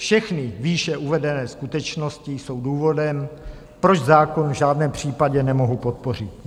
Všechny výše uvedené skutečnosti jsou důvodem, proč zákon v žádném případě nemohu podpořit.